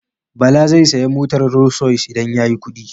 Bala zai saya motar Rolls-Royce idan ya yi kuɗi.